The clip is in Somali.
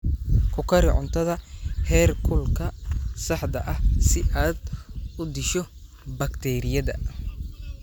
Ku kari cuntada heerkulka saxda ah si aad u disho bakteeriyada.